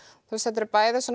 þetta eru bæði